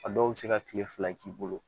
A dɔw bɛ se ka tile fila k'i bolo